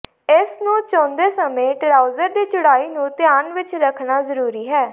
ਇਸ ਨੂੰ ਚੁਣਦੇ ਸਮੇਂ ਟਰਾਊਜ਼ਰ ਦੀ ਚੌੜਾਈ ਨੂੰ ਧਿਆਨ ਵਿਚ ਰੱਖਣਾ ਜ਼ਰੂਰੀ ਹੈ